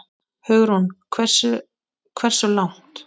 Hugrún: Hversu, hversu langt?